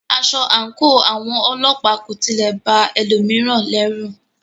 Aṣọ àńkò àwọn ọlọ́pàá kò tilẹ̀ ba ẹlòmíràn lọrù.